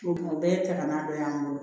O kuma o bɛɛ ye ka kan'a dɔ y'an bolo